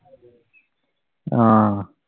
ആഹ്